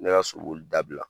Ne ka so li dabila.